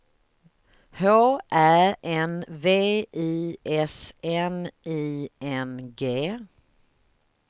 H Ä N V I S N I N G